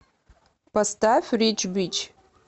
поставь рич бич